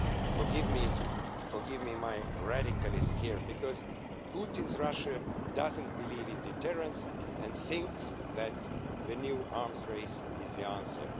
Forgive me my radicalism here because Putin's Russia doesn't believe in deterrents, and thinks that the new arms race is the answer.